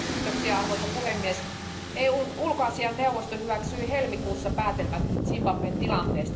Arvoisa puhemies, EUn ulkoasianneuvosto hyväksyi helmikuussa päätelmät Zimbabwen tilanteesta.